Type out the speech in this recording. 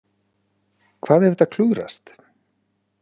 Hvað ef þetta klúðrast?